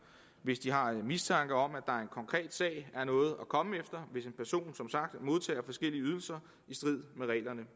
hvis de har mistanke om at konkret sag er noget at komme efter hvis en person som sagt modtager forskellige ydelser i strid med reglerne